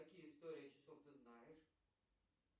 какие истории часов ты знаешь